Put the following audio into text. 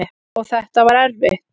Og þetta var erfitt.